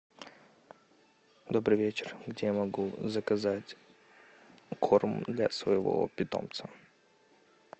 добрый вечер где я могу заказать корм для своего питомца